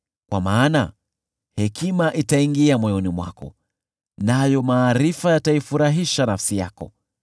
Kwa maana hekima itaingia moyoni mwako, nayo maarifa yataifurahisha nafsi yako.